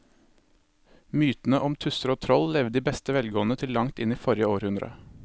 Mytene om tusser og troll levde i beste velgående til langt inn i forrige århundre.